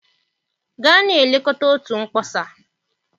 Gaa na-elekọta otu mkpọsa.